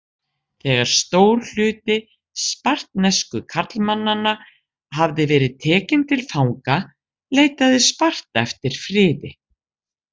Þegar stór hluti spartnesku karlmannanna hafði verið tekinn til fanga leitaði Sparta eftir friði.